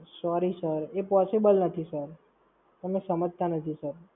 Sorry Sir, એ Possible નથી Sir. તમે સમજતા નથી Sir